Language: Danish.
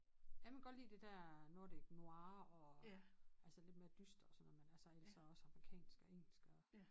Jeg kan godt lide det der nordic noir og altså lidt mere dystre og sådan noget men altså ellers så også amerikansk og engelsk og